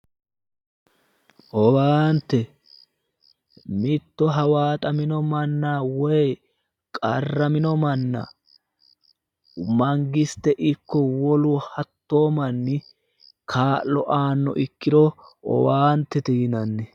Owaante mitto hawaaxamino manna woy warramino manna mangisite ikko hattoo nni ka'lo aannoha ikkito owaantete yinanni.